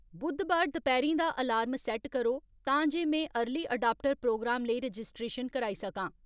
बुद्धबार दपैह्रीं दा alarm set करो तां जे में अर्ली अडाप्टर प्रोग्राम लेई रजिस्ट्रेशन कराई सकां